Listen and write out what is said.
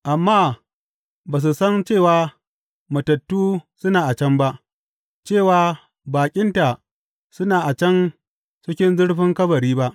Amma ba su san cewa matattu suna a can ba, cewa baƙinta suna a can cikin zurfin kabari ba.